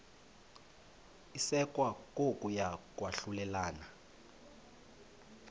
isekwa kokuya kwahlulelana